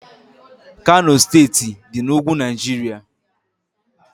Kano steeti dị na ugwu Naijiria